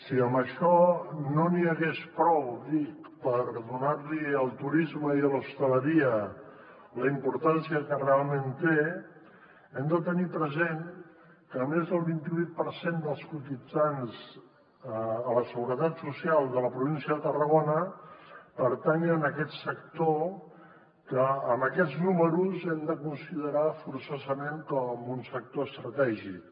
si amb això no n’hi hagués prou dic per donar li al turisme i a l’hostaleria la importància que realment tenen hem de tenir present que més del vint i vuit per cent dels cotitzants a la seguretat social de la província de tarragona pertanyen a aquest sector que amb aquests números hem de considerar forçosament com un sector estratègic